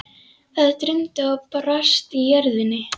Það drundi og brast í jörðinni.